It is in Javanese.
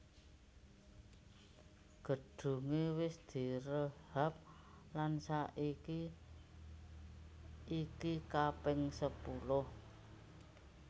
Gedunge wis direhab lan saiki iki kaping sepuluh